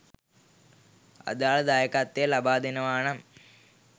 අදාළ දායකත්වය ලබාදෙනවා නම්